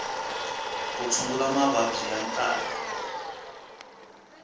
ku tshungula mavabyi ya nkarhi